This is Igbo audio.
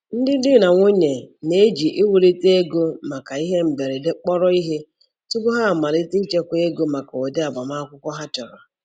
Ndị di na nwunye na-eji iwulite ego maka ihe mberede kpọrọ ihe tupu ha amalite ichekwa ego maka ụdị agbamakwụkwọ ha chọrọ.